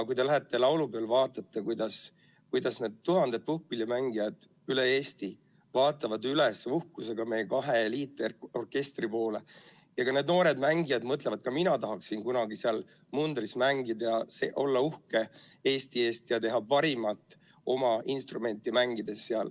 Kui te lähete laulupeole, siis vaadake, kuidas need tuhanded puhkpillimängijad üle Eesti vaatavad uhkusega üles meie kahe eliitorkestri poole, ja noored mängijad mõtlevad, et ka mina tahaksin kunagi seal mundris mängida, olla uhke Eesti üle ja anda oma parima oma instrumenti mängides.